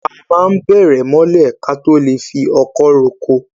A máa n bẹ̀rẹ̀ mọ́lẹ̀ káto lè fi ọkọ̀ ro oko